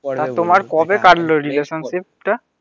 আর তোমার কবে কাটলো রিলেসানশিপ টা?